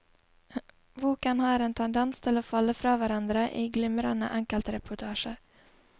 Boken har en tendens til å falle fra hverandre i glimrende enkeltreportasjer.